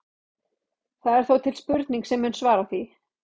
Það er þó til spurning sem mun svara því.